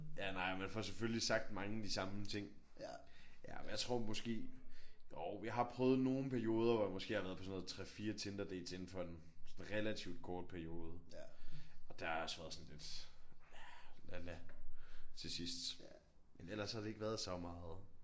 Ja nej man får selvfølgelig sagt mange af de samme ting. Ja men jeg tror måske jo jeg har prøvet nogen perioder hvor jeg måske har været på sådan noget 3 4 Tinderdates indenfor en sådan relativ kort periode. Og der har jeg også været sådan lidt la la til sidst. Men ellers har det ikke været så meget